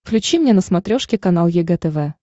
включи мне на смотрешке канал егэ тв